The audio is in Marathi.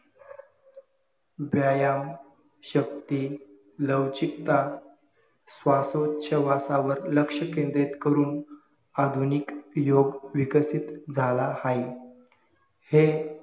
व्यायाम, शक्ती, लवचिकता, श्वासोच्छवासावर लक्ष्य केंद्रित करून अधिनिक योग विकसित झाला आहे